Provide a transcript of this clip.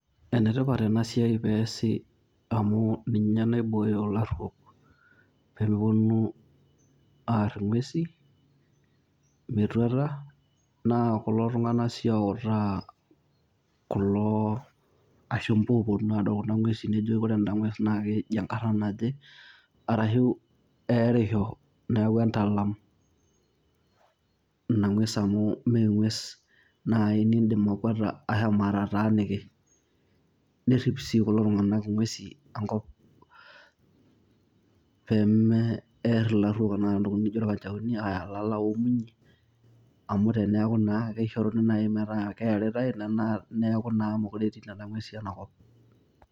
Enetipat ena siai peesi amu ninye naibooyo ilarruok pee meponu aarr ing'uesi metuata naa kulo tung'anak sii ooutaa kulo ashumpa ooponu adol kuna ng'uesi, nejoki ore enda ng'ues naa keji enkarna naje arashu eerisho neeku entalam ina ng'ues amu mee ng'ues naai niindim akwata ashomo atataaniki, nerrip sii kulo tung'anak ng'uesi enkop pee merr ilarruok entoki nijio irkanchaoni aaya ilala oomunyi, amu teneeku naa kishoruni metaa keeritai neeku naa meekure etii nena ng'uesi ena kop.